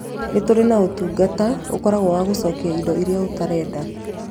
Nĩ tũrĩ na ũtungata ũkoragwo wa gũcokia indo iria ũtarenda.